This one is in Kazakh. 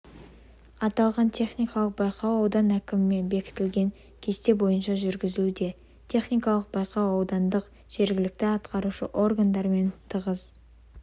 аталған техникалық байқау аудан әкімімен бекітілген кесте бойынша жүргізілуде техникалық байқау аудандық жергілікті атқарушы органдармен тығыз